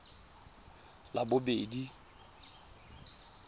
labobedi